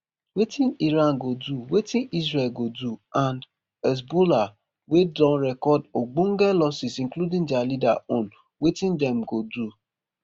wetin iran go do wetin israel go do and hezbollah wey don record ogbonge losses including dia leader own wetin dem go do